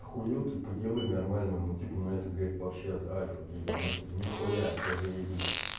ахуел типа делай нормально ну типа ну это говорит вообще альфа ты ебанутый ни хуя все заебись